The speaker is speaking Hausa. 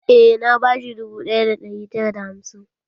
Eh, na ba shi dubu ɗaya da ɗari tara da hamsin.